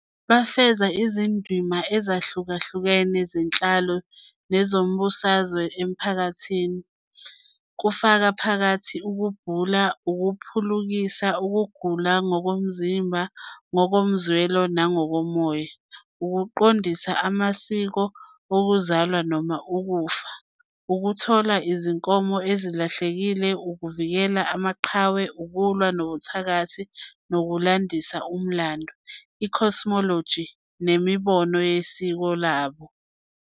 Bafeza izindima ezahlukahlukene zenhlalo nezombusazwe emphakathini, kufaka phakathi ukubhula, ukuphulukisa ukugula ngokomzimba, ngokomzwelo nangokomoya, ukuqondisa amasiko okuzalwa noma okufa, ukuthola izinkomo ezilahlekile, ukuvikela amaqhawe, ukulwa nobuthakathi, nokulandisa umlando, i-cosmology, nemibono yesiko labo.